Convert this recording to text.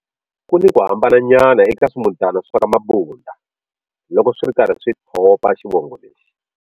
Kuni ku hambananyana eka swi mutana swa ka Mabunda loko swiri karhi swi thopa xivongo lexi.